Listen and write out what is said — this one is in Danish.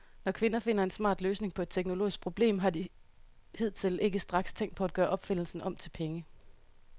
Når kvinder finder en smart løsning på et teknologisk problem, har de hidtil ikke straks tænkt på at gøre opfindelsen om til penge.